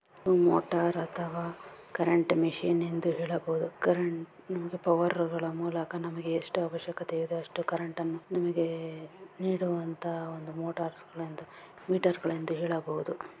ಇದು ಮೋಟಾರ್ಅ ಅಥವಾ ಕರೆಂಟ್ ಮಷೀನ್ ಎಂದು ಹೇಳಬಹುದು. ಕರೆಂಟ್ ಪವಾರಗಳ ಮೂಲಕ ನಮಗೆ ಎಷ್ಟು ಅವಶ್ಯಕತೆ ಇದೆ ಅಷ್ಟು ಕರೆಂಟನ್ನು ನಮಗೆ ನೀಡುವಂತಹ ಒಂದು ಮೊಟರ್ಸ್ಗಳು ಮಿಟರ್ಸಗಳೆಂದು ಹೇಳಬಹುದು.